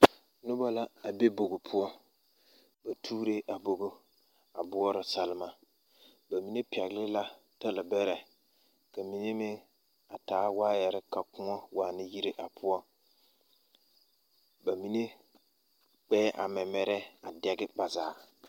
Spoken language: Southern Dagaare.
Noba la a be bogi poɔ ba tuuree a bogi a boɔrɔ salema ba mine pɛgle la talabɛrɛ ka mine meŋ a taa waayɛre ka koɔ waana yire a poɔ ba mine kpɛɛ a mɛmɛrɛɛ a dɛge ba zaa.